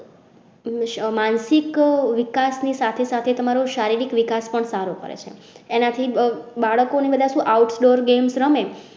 માનસિક વિકાસ ના સાથે સાથે તમારો શારીરિક વિકાસ પણ સારું પડે છે એના થી બાળકો ને બધા સુ outdoor games રમે